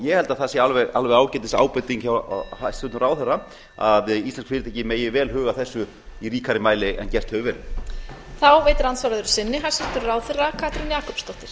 ég held að það sé alveg ágætis ábending hjá hæstvirtum ráðherra að íslensk fyrirtæki megi vel huga að þessu í ríkari mæli en gert hefur verið